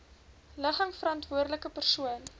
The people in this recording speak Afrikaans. ligging verantwoordelike persoon